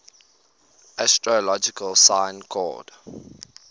astrological sign called